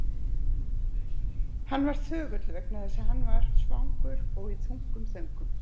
Hann var þögull vegna þess að hann var svangur og í þungum þönkum.